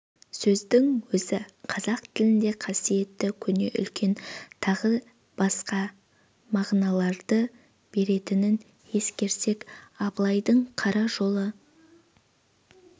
сөздің өзі қазақ тілінде қасиетті көне үлкен тағы басқа мағыналарды беретінін ескерсек абылайдың қара жолы